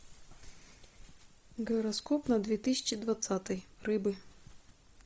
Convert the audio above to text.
гороскоп на две тысячи двадцатый рыбы